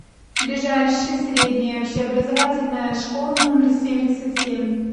ближайший средняя общеобразовательная школа номер семьдесят семь